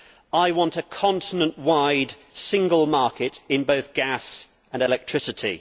I want a continent-wide single market in both gas and electricity.